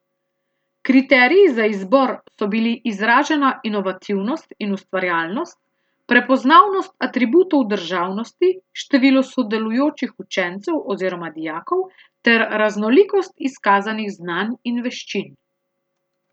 Kriteriji za izbor so bili izražena inovativnost in ustvarjalnost, prepoznavnost atributov državnosti, število sodelujočih učencev oziroma dijakov ter raznolikost izkazanih znanj in veščin.